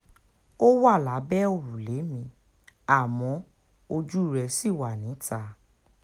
ó wà lábẹ́ òrùlé mi àmọ́ ojú rẹ̀ ṣì wà níta